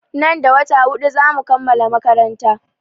Nan da wata huɗu za mu kammala makaranta.